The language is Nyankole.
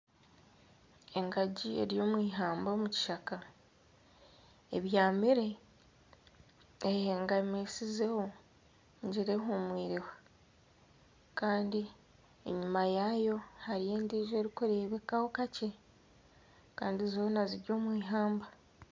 Engagi eri omwihamba omu kishaka ebyamire, eyehegamisizeho nigira ehumwireho kandi enyuma yaayo hariyo endijo erikureebekaho kakye kandi zoona ziri omwihamba.